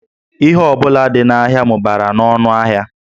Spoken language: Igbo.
Ihe ọ bụla dị n'ahịa mụbara n'ọnụ ahịa